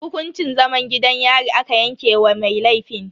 Hukuncin zaman gidan yari aka yanke wa mai laifin.